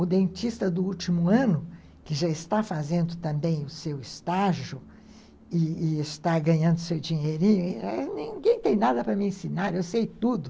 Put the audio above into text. O dentista do último ano, que já está fazendo também o seu estágio e e está ganhando seu dinheirinho, ninguém tem nada para me ensinar, eu sei tudo.